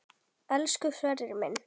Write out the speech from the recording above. Elsku Sverrir minn.